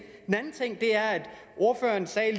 er at ordføreren